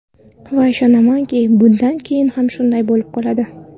Va ishonamanki, bundan keyin ham shunday bo‘lib qoladi.